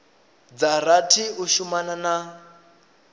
dza rathi u shumana na